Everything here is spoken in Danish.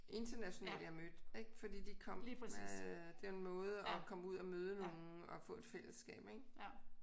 Internationale jeg mødte ik fordi de kom øh det er en måde at komme ud at møde nogen og få et fællesskab ik